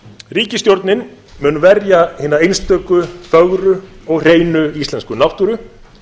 ríkisstjórnin mun verja hina einstöku fögru og hreinu íslensku náttúru